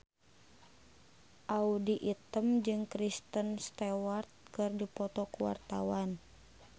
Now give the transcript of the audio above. Audy Item jeung Kristen Stewart keur dipoto ku wartawan